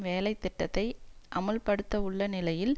வேலை திட்டத்தை அமுல்படுத்தவுள்ள நிலையில்